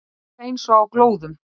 Villa voru miklu betri en við.